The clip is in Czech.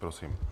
Prosím.